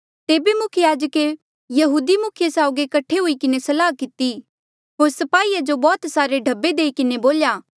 तेबे मुख्य याजके यहूदी मुखिये साउगी कट्ठे हुई किन्हें सलाह किती होर स्पाहीया जो बौह्त सारे ढब्बे देई किन्हें बोल्या